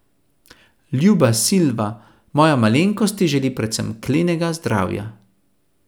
Ljuba Silva, moja malenkost ti želi predvsem klenega zdravja.